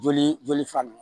Joli joli sira nunnu